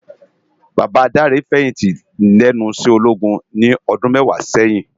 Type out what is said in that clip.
Baba Dare fèyinti lènú iṣè ólógún ni òdùn mèwá sèyin